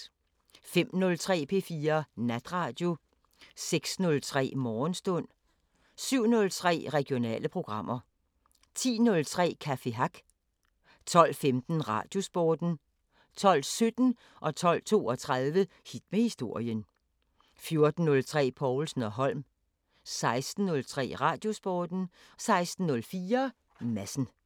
05:03: P4 Natradio 06:03: Morgenstund 07:03: Regionale programmer 10:03: Café Hack 12:15: Radiosporten 12:17: Hit med historien 12:32: Hit med historien 14:03: Povlsen & Holm 16:03: Radiosporten 16:04: Madsen